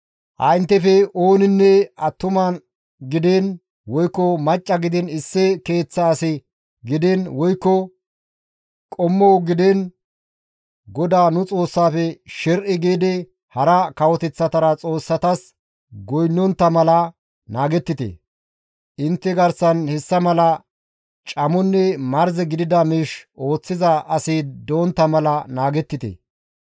Ha inttefe ooninne attuma gidiin woykko macca gidiin issi keeththa as gidiin woykko qommo gidiin GODAA nu Xoossaafe sher7i giidi hara kawoteththata xoossatas goynnontta mala naagettite; intte garsan hessa mala camonne marze gidida miish ooththiza asi doontta mala naagettite.